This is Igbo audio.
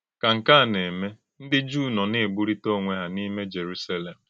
Kà nkè a na-èmè, ndí Jùù nọ na-ègbùrítà ònwè hà n’ímè Jèrùsálèm!